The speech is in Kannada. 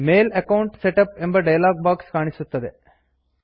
ಮೇಲ್ ಅಕೌಂಟ್ ಸೆಟಪ್ ಎಂಬ ಡಯಲಾಗ್ ಬಾಕ್ಸ್ ಕಾಣಿಸುತ್ತದೆ